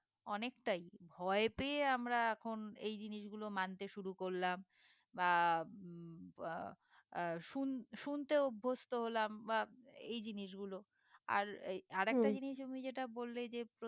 অনেকটাই ভয়ে পেয়ে আমরা এখন এই জিনিসগুলো মানতে শুরু করলাম বা উহ আহ বা শুন শুনতে অভস্ত হলাম বা এই জিনিসগুলো আর এই অরে একটা জিনিস তুমি যেটা বললে যে